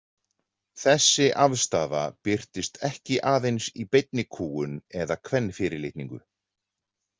Þessi afstaða birtist ekki aðeins í beinni kúgun eða kvenfyrirlitningu.